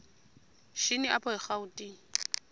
shini apho erawutini